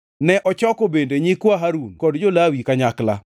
Ne ochoko bende nyikwa Harun kod jo-Lawi kanyakla.